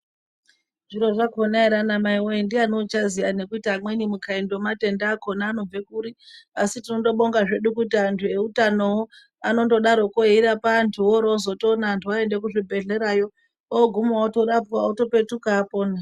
Zviro zvakona ere ana mai we! ndiani uchaziya nekuti amweni mukaindi wematenda apeno kuti anobve kuri asi tinondobonga zvedu kuti antu eutanowo anondodaroko eirapa antu wooro wozotoona antu oenda kuzvibhehleya yo oguma otorapwa otopetuka apona.